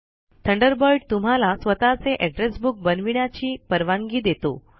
Thunderbird तुम्हाला स्वताचे address book बनविण्याची परवानगी देतो